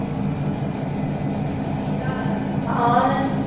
ਕੀ ਹਾਲ ਆ